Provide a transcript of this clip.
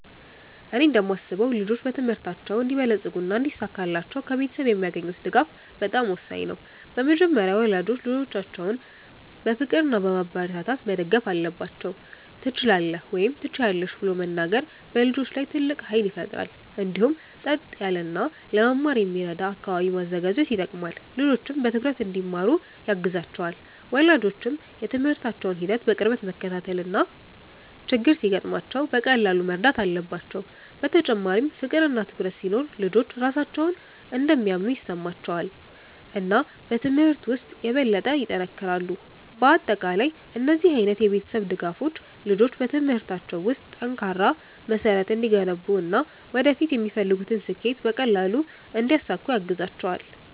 እኔ እንደማስበው ልጆች በትምህርታቸው እንዲበለጽጉና እንዲሳካላቸው ከቤተሰብ የሚያገኙት ድጋፍ በጣም ወሳኝ ነው። በመጀመሪያ ወላጆች ልጆቻቸውን በፍቅር እና በማበረታታት መደገፍ አለባቸው፤ “ትችላለህ” ወይም “ትችያለሽ ” ብለው መናገር በልጆች ላይ ትልቅ ኃይል ይፈጥራል። እንዲሁም ጸጥ ያለ እና ለመማር የሚረዳ አካባቢ ማዘጋጀት ይጠቅማል፣ ልጆችም በትኩረት እንዲማሩ ያግዛቸዋል። ወላጆች የትምህርታቸውን ሂደት በቅርበት መከታተል እና ችግር ሲገጥማቸው በቀላሉ መርዳት አለባቸው። በተጨማሪም ፍቅር እና ትኩረት ሲኖር ልጆች ራሳቸውን እንደሚያምኑ ይሰማቸዋል እና በትምህርት ውስጥ የበለጠ ይጠነክራሉ። በአጠቃላይ እነዚህ ዓይነት የቤተሰብ ድጋፎች ልጆች በትምህርታቸው ውስጥ ጠንካራ መሠረት እንዲገነቡ እና ወደፊት የሚፈልጉትን ስኬት በቀላሉ እንዲያሳኩ ያግዛቸዋል።